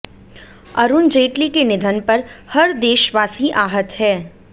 अरुण जेटली के निधन पर हर देशवासी आहत है